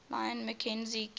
lyon mackenzie king